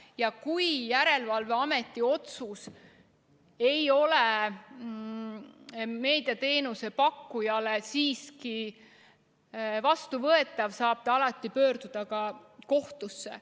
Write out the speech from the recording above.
Ja kui järelevalveameti otsus ei ole meediateenuse pakkujale siiski vastuvõetav, siis saab ta alati pöörduda ka kohtusse.